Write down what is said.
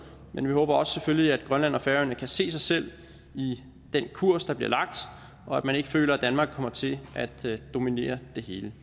men vi håber selvfølgelig også at grønland og færøerne kan se sig selv i den kurs der bliver lagt og at man ikke føler at danmark kommer til at dominere det hele